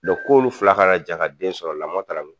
k'olu fila ka jɛn ka den sɔrɔ lamɔ taara min ?